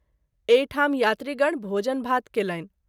एहि ठाम यात्रीगण भोजन भात कयलनि।